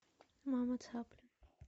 мама цапля